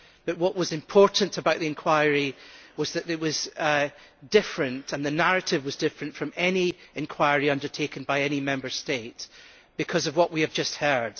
But what was important about the inquiry was that it was different, and the narrative was different from any inquiry undertaken by any Member State because of what we have just heard.